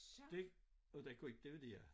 Det og den kunne ikke dividere